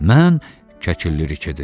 Mən, Kəkilli rike dedi.